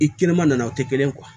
I kɛnɛma nana o tɛ kelen ye